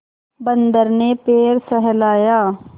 बंदर ने पैर सहलाया